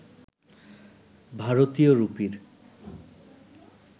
ভারতীয় রুপির